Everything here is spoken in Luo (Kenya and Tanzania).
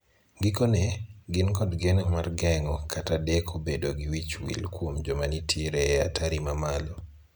Gikone, gin kod geno mar geng'o kata deko bedo gi wich wil kuom joma nitie e atari mamalo.